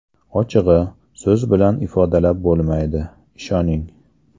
Ochig‘i, so‘z bilan ifodalab bo‘lmaydi, ishoning.